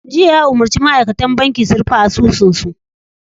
Jiya ya umarci ma'aikatan banki su 'Rufe asusunsa!